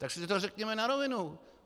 Tak si to řekněme na rovinu.